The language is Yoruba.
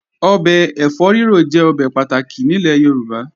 Ọbẹ̀ ẹ̀fọ́ rírò jẹ́ ọbẹ̀ pàtàkì nílẹ̀ Yorùbá